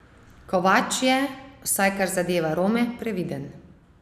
Kovač je, vsaj kar zadeva Rome, previden.